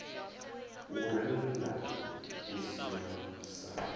u rennda u sielwa sa